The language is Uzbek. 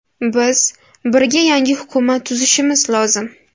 Biz birga yangi hukumat tuzishimiz lozim.